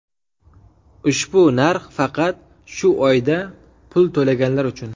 Ushbu narx faqat shu oyda pul to‘laganlar uchun.